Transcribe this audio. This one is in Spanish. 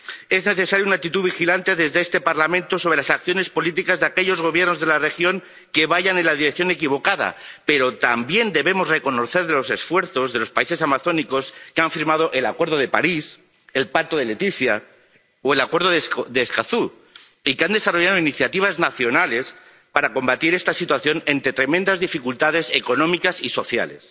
Es necesaria una actitud vigilante desde este Parlamento sobre las acciones políticas de aquellos Gobiernos de la región que vayan en la dirección equivocada, pero también debemos reconocer los esfuerzos de los países amazónicos, que han firmado el Acuerdo de París, el Pacto de Leticia o el Acuerdo de Escazú y que han desarrollado iniciativas nacionales para combatir esta situación entre tremendas dificultades económicas y sociales.